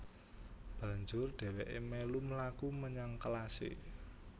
Banjur dhèwèké mèlu mlaku menyang kelasé